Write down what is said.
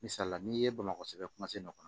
Misali la n'i ye bamakɔ sɛbɛn nɔ kɔnɔ